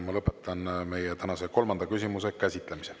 Ma lõpetan tänase kolmanda küsimuse käsitlemise.